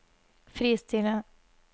fristille